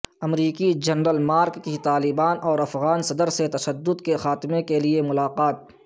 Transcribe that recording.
امریکی general Mark کی طالبان اور افغان صدرسے تشدد کے خاتمہ کیلئے ملاقات